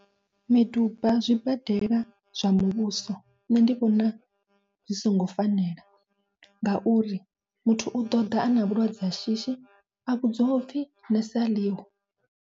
Miduba zwibadela zwa muvhuso nṋe ndi vhona zwi songo fanela, ngauri muthu u ḓoḓa ana vhulwadze ha shishi a vhudziwa upfhi nese aḽiho.